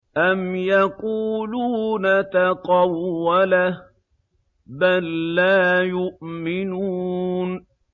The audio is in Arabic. أَمْ يَقُولُونَ تَقَوَّلَهُ ۚ بَل لَّا يُؤْمِنُونَ